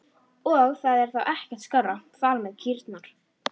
Og það er þá ekkert skárra þar með kýrnar?